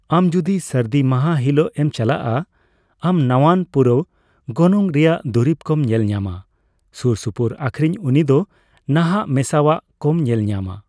ᱟᱢ ᱡᱩᱫᱤ ᱥᱟᱨᱫᱤ ᱢᱟᱦᱟ ᱦᱤᱞᱟᱹᱜ ᱮᱢ ᱪᱟᱞᱟᱜᱼᱟ ᱟᱢ ᱱᱟᱣᱟᱱ ᱯᱩᱨᱟᱹᱣ ᱜᱚᱱᱚᱝ ᱨᱮᱭᱟᱜ ᱫᱩᱨᱤᱵ ᱠᱚᱢ ᱧᱮᱞ ᱧᱟᱢᱟ, ᱥᱩᱨᱼᱥᱩᱯᱩᱨ ᱟᱠᱷᱨᱤᱧ ᱩᱱᱤ ᱫᱚ ᱱᱟᱦᱟᱜ ᱢᱮᱥᱟᱣᱟᱜ ᱠᱚᱢ ᱧᱮᱞ ᱧᱟᱢᱟ ᱾